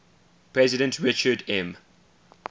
president richard m